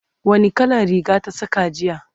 wani kalan Riga ta Saka jiya?